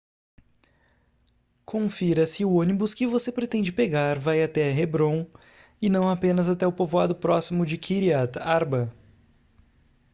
confira se o ônibus que você pretende pegar vai até hebrom e não apenas até o povoado próximo de kiryat arba